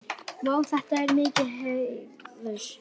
Vá, þetta er mikill heiður.